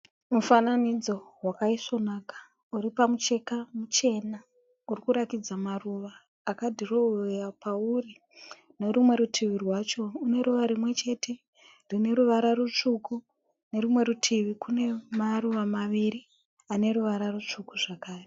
Mifananidzo wakaisvonaka uri pamucheka muchena urikuratidza maruva akadhirowewa pauri. Nerumwe rutivi rwacho rune ruva rimwechete rine ruvara rutsvuku nerimwe rutivi kune maruva maviri ane ruvara rutsvuku zvakare.